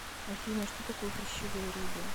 афина что такое хрящевые рыбы